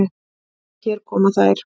Hér koma þær.